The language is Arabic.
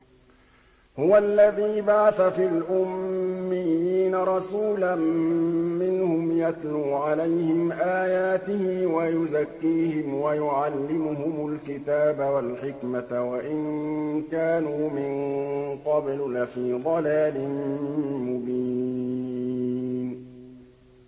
هُوَ الَّذِي بَعَثَ فِي الْأُمِّيِّينَ رَسُولًا مِّنْهُمْ يَتْلُو عَلَيْهِمْ آيَاتِهِ وَيُزَكِّيهِمْ وَيُعَلِّمُهُمُ الْكِتَابَ وَالْحِكْمَةَ وَإِن كَانُوا مِن قَبْلُ لَفِي ضَلَالٍ مُّبِينٍ